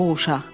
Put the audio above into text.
O uşaq.